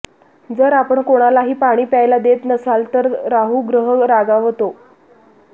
जर आपण कोणालाही पाणी प्यायला देत नसाल तर राहू ग्रह रागावतो